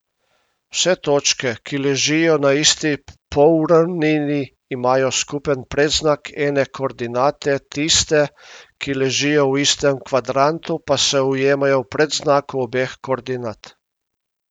Vse točke, ki ležijo na isti polravnini, imajo skupen predznak ene koordinate, tiste, ki ležijo v istem kvadrantu, pa se ujemajo v predznaku obeh koordinat.